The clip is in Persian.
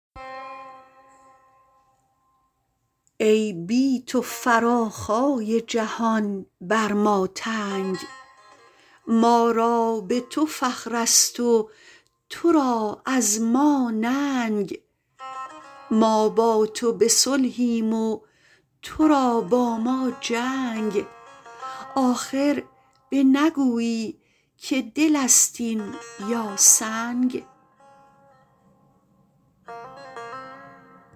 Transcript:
ای بی تو فراخای جهان بر ما تنگ ما را به تو فخرست و تو را از ما ننگ ما با تو به صلحیم و تو را با ما جنگ آخر بنگویی که دل ست این یا سنگ